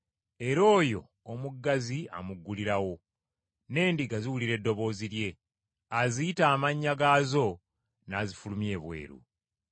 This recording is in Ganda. Era oyo omuggazi amuggulirawo, n’endiga ziwulira eddoboozi lye, aziyita amannya gaazo n’azifulumya ebweru.